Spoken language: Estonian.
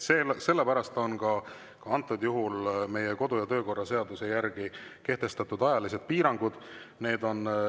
Sellepärast on ka meie kodu‑ ja töökorra seaduse järgi antud juhul kehtestatud ajalised piirangud.